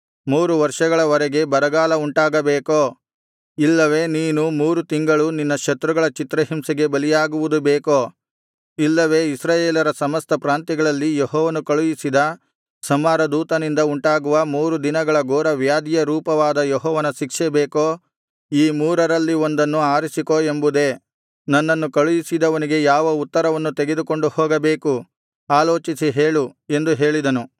ಮೂರು ವರ್ಷಗಳ ವರೆಗೆ ಬರಗಾಲ ಉಂಟಾಗಬೇಕೋ ಇಲ್ಲವೆ ನೀನು ಮೂರು ತಿಂಗಳು ನಿನ್ನ ಶತ್ರುಗಳ ಚಿತ್ರಹಿಂಸೆಗೆ ಬಲಿಯಾಗುವುದು ಬೇಕೋ ಇಲ್ಲವೆ ಇಸ್ರಾಯೇಲರ ಸಮಸ್ತ ಪ್ರಾಂತ್ಯಗಳಲ್ಲಿ ಯೆಹೋವನು ಕಳುಹಿಸಿದ ಸಂಹಾರದೂತನಿಂದ ಉಂಟಾಗುವ ಮೂರು ದಿನಗಳ ಘೋರವ್ಯಾಧಿಯ ರೂಪವಾದ ಯೆಹೋವನ ಶಿಕ್ಷೆ ಬೇಕೋ ಈ ಮೂರರಲ್ಲಿ ಒಂದನ್ನು ಆರಿಸಿಕೊ ಎಂಬುದೇ ನನ್ನನ್ನು ಕಳುಹಿಸಿದವನಿಗೆ ಯಾವ ಉತ್ತರವನ್ನು ತೆಗೆದುಕೊಂಡು ಹೋಗಬೇಕು ಆಲೋಚಿಸಿ ಹೇಳು ಎಂದು ಹೇಳಿದನು